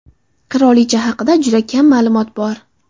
Qirolicha haqida juda kam ma’lumot bor.